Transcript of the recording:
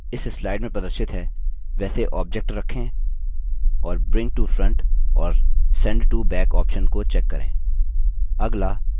अब जैसा इस slides में प्रदर्शित है वैसे object रखें और bring to front और sent to back options को check करें